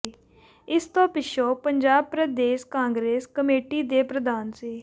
ਇਸ ਤੋਂ ਪਿੱਛੋਂ ਪੰਜਾਬ ਪ੍ਰਦੇਸ਼ ਕਾਂਗਰਸ ਕਮੇਟੀ ਦੇ ਪ੍ਰਧਾਨ ਸ